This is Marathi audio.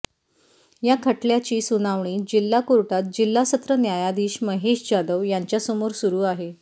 या खटल्याची सुनावणी जिल्हा कोर्टात जिल्हा सत्र न्यायाधीश महेश जाधव यांच्यासमोर सुरू आहे